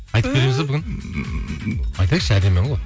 айтып береміз бе бүгін айтайықшы әдемі ән ғой